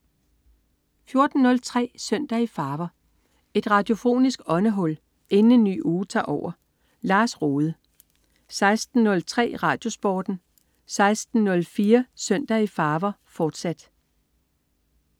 14.03 Søndag i farver. Et radiofonisk åndehul inden en ny uge tager over. Lars Rohde 16.03 RadioSporten 16.04 Søndag i farver, fortsat